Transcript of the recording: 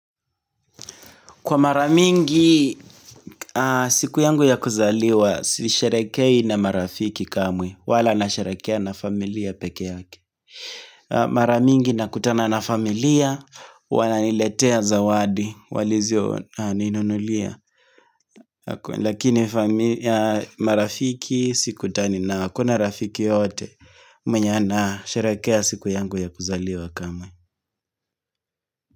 Kwa mara mingi siku yangu ya kuzaliwa, si sherekei na marafiki kamwe, wala na sherekea na familia peke yake. Mara mingi nakutana na familia, wananiletea zawadi, walizoninunulia. Lakini marafiki sikutani na hakuna rafiki yote, mwenye anasherekea siku yangu ya kuzaliwa kamwe.